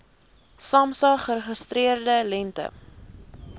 samsa geregistreerde lengte